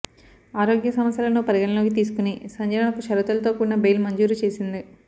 ఆరోగ్య సమస్యలను పరిగణనలోకి తీసుకుని సంజనకు షరతులతో కూడిన బెయిల్ మంజూరు చేసింది